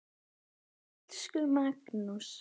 Elsku Magnús.